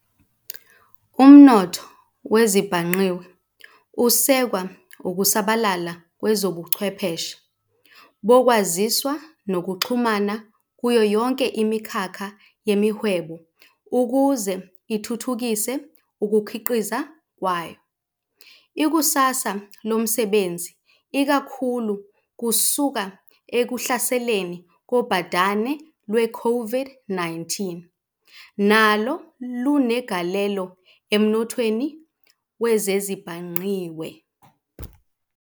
Umnotho wezezibhangqiwe usekwa ukusabalala kwezobuchwepheshe bokwaziswa nokuxhumana kuyo yonke imikhakha yemihwebo ukuze ithuthukise ukukhiqiza kwayo. Ikusasa lomsebenzi, ikakhulu kusuka ekuhlaseleni kobhadane lwe-COVID-19, nalo lunegalelo emnothweni wezezibhangqiwe.